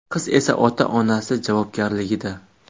Qiz esa ota-onasi javobgarligida.